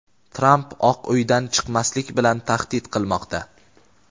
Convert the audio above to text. Tramp Oq uydan chiqmaslik bilan tahdid qilmoqda.